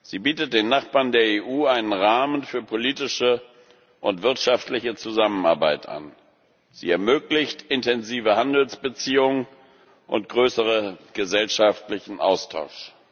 Sie bietet den Nachbarn der EU einen Rahmen für politische und wirtschaftliche Zusammenarbeit an, sie ermöglicht intensive Handelsbeziehungen und größeren gesellschaftlichen Austausch.